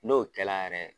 N'o kɛla yɛrɛ